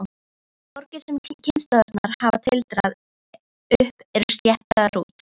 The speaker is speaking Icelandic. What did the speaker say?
Borgir sem kynslóðirnar hafa tildrað upp eru sléttaðar út.